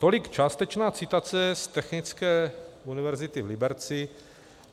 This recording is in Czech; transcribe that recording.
Tolik částečná citace z Technické univerzity v Liberci.